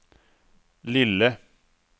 lille